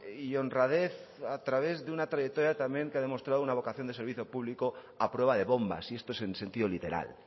y honradez a través de una trayectoria también que ha demostrado una vocación de servicio público a prueba de bombas y esto es en sentido literal